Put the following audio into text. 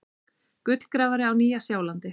Gullgrafari á Nýja-Sjálandi.